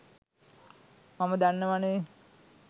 මම දන්නවනේ.